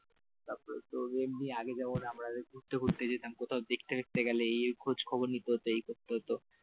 তোর এমনি আগে যেমন আমরা ঘুরতে ঘুরতে যেতাম কোথাও দেখতে দেখতে গেলে এই এই খোঁজ খবর নিতে হতো এই করতে হতো,